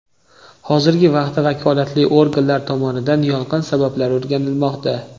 Hozirgi vaqtda vakolatli organlar tomonidan yong‘in sabablari o‘rganilmoqda.